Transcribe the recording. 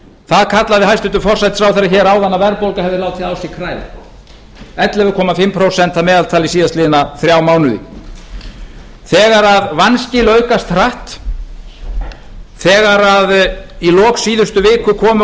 það kallaði hæstvirtur forsætisráðherra hér áðan að verðbólga hefði látið þá sér kræla ellefu og hálft prósent að meðaltali síðastliðin þrjá mánuði þegar vanskil aukast hratt þegar í lok síðustu viku komu